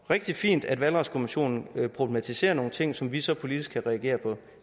rigtig fint at valgretskommissionen problematiserer nogle ting som vi så politisk kan reagere på